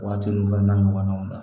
Waati nun fana na ɲɔgɔnnaw la